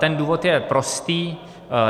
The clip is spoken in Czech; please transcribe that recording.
Ten důvod je prostý.